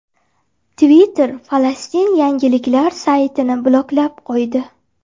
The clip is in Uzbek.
Twitter Falastin yangiliklar saytini bloklab qo‘ydi.